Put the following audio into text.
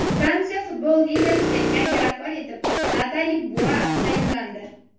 Fransiya Futbol Ligasiga yangi rahbar etib Natali Bua tayinlandi.